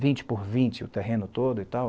vinte por vinte o terreno todo e tal.